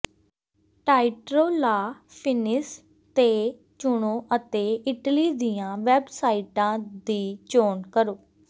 ਟਾਇਟਰੋ ਲਾ ਫਿਨਿਸ ਤੇ ਚੁਣੋ ਅਤੇ ਇਟਲੀ ਦੀਆਂ ਵੈੱਬਸਾਈਟਾਂ ਦੀ ਚੋਣ ਕਰੋ